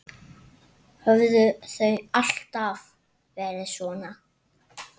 Höfðu þau alltaf verið svona?